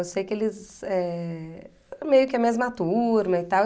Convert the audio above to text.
Eu sei que eles eh... Meio que a mesma turma e tal.